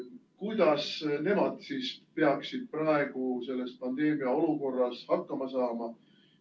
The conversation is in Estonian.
Kuidas nemad siis peaksid praegu selles pandeemiaolukorras hakkama saama?